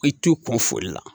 I t'u kun foli la